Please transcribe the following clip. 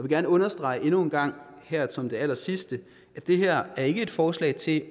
gerne understrege endnu en gang som det allersidste at det her er et forslag til